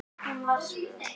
Hún var svöl.